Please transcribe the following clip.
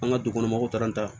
An ka du kɔnɔ mɔgɔw taara an ta